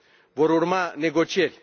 Vor urma negocieri.